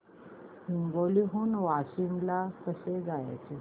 हिंगोली हून वाशीम ला कसे जायचे